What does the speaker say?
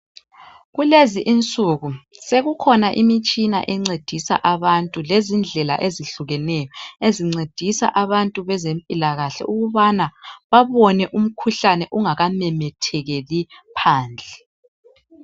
Kulezi insuku sekukhona imitshina encedisa abantu lezindlela ezihlukeneyo ezincedisa abantu bezempilakahle ukubana babone umkhuhlane ungakamemethekeli phandle.